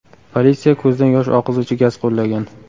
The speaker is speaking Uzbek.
Politsiya ko‘zdan yosh oqizuvchi gaz qo‘llagan.